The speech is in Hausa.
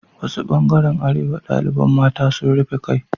Wasu ɓangaren arewa ɗaliɓan mata sun rufe ƙai